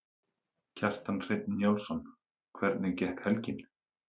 Kjartan Hreinn Njálsson: Hvernig gekk helgin?